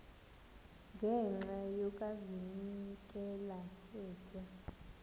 ngenxa yokazinikela etywa